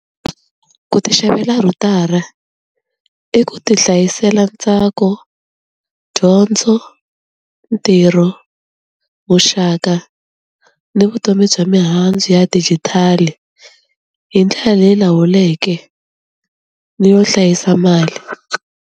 Ku ti xavela rhutara i ku ti hlayisela ntsako, dyondzo, ntirho, muxaka, ni vutomi bya mihandzu ya digital-i hi ndlela leyi lawuleke ni yo hlayisa mali.